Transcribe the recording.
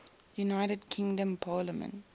united kingdom parliament